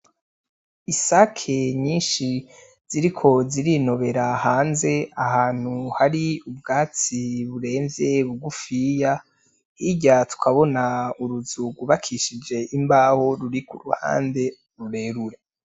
Isake nyinshi ziriko zirinobera hanze ahantu hari ubwatsi buremvye bugufiya hirya tukabona uruzu gw'ubakishije imbaho ruri kuruhande rurerure.